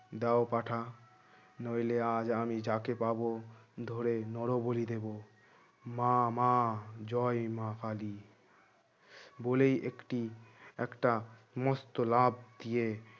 দাও পাঁঠা নইলে আজ আমি যাকে পাব ধরে নরবলি দেবো মা মা জয় মা কালী বলেই একটি একটা মস্ত লাফ দিয়ে